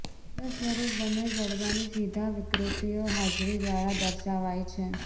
ત્રીજા સ્વરૂપ બંને જડબાની સીધા વિકૃતિઓ હાજરી દ્વારા દર્શાવાય છે